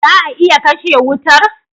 Za a iya kashe wutar?